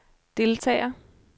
deltager